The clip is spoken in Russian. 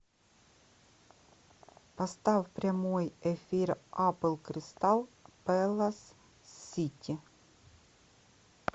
поставь прямой эфир апл кристал пэлас сити